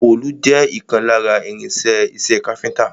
Òòlù jẹ́ ìkan lára irin-iṣẹ́ iṣẹ́ káfíńńtà.